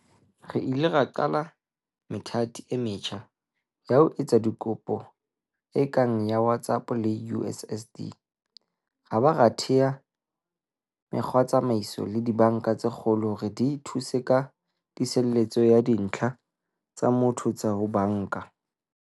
Re ile ra qala methati e metjha ya ho etsa dikopo e kang ya WhatsApp le USSD, ra ba ra thea mekgwatsamaiso le dibanka tse kgolo hore di thuse ka tiiseletso ya dintlha tsa motho tsa ho banka.